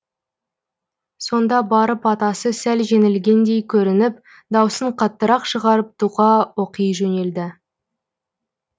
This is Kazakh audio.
сонда барып атасы сәл жеңілгендей көрініп дауысын қаттырақ шығарып тұға оқи жөнелді